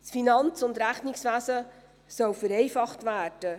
Das Finanz- und Rechnungswesen soll vereinfacht werden.